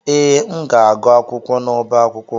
Ee, m ga-agụ akwụkwọ n'ọbá akwụkwọ.